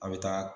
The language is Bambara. A' bɛ taa